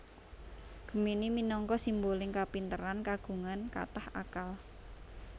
Gemini minangka simboling kapinteran kagungan kathah akal